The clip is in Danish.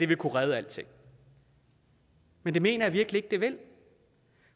vil kunne redde alting men det mener jeg virkelig ikke det vil